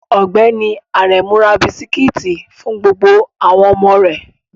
Ọgbẹni Aremu ra bisikiti fun gbogbo awon omo re